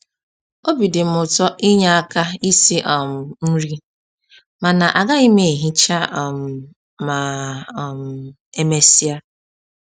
Obi dịm ụtọ inye aka isi um nri, mana agaghị m ehicha um ma um e mesịa